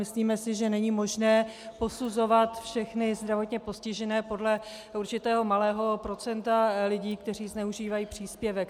Myslíme si, že není možné posuzovat všechny zdravotně postižené podle určitého malého procenta lidí, kteří zneužívají příspěvek.